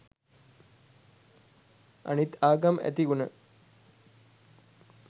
අනිත් ආගම් ඇති ගුණ